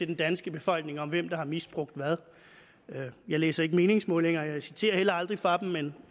den danske befolkning at vurdere hvem der har misbrugt hvad jeg læser ikke meningsmålinger og jeg citerer heller aldrig fra dem men